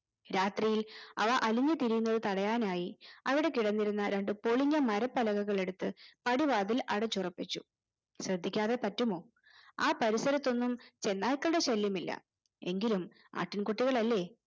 രാത്രിയിൽ അവ അലഞ്ഞു തിരിയുന്നത് തടയാനായി അവിടെ കിടന്നിരുന്ന രണ്ട് പൊളിഞ്ഞ മരപ്പലകകൾ എടുത്ത് പടിവാതിൽ അടച്ചുറപ്പിച്ചു ശ്രദ്ധിക്കാതെ പറ്റുമോ ആ പരിസരത്തൊന്നും ചെന്നായ്ക്കളുടെ ശല്യമില്ല എങ്കിലും ആട്ടിൻ കുട്ടികളല്ലേ